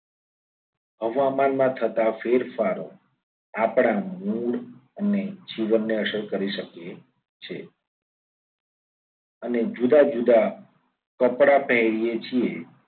હવામાનમાં થતા ફેરફારો આપણા mood અને જીવનને અસર કરી શકે છે. અને જુદા જુદા કપડા પહેરીએ છીએ.